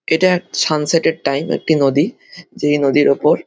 এটা সানসেট -এর টাইম একটি নদী যেই নদীর ওপর--